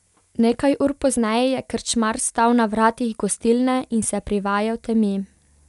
Nekaj ur pozneje je krčmar stal na vratih gostilne in se privajal temi.